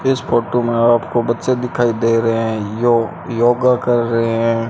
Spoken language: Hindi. इस फोटो में आपको बच्चे दिखाई दे रहे हैं यो योगा कर रहे हैं।